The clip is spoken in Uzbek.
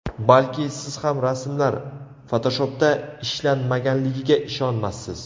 Balki, siz ham rasmlar Photoshop’da ishlanmaganligiga ishonmassiz.